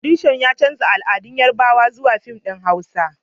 Furodusan ya canza al'adar Yarbawa zuwa fim din huasa